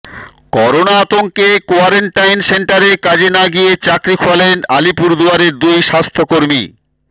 corona আতঙ্কে quarantine সেন্টারে কাজে না গিয়ে চাকরি খোয়ালেন আলিপুরদুয়ারের দুই স্বাস্থ্যকর্মী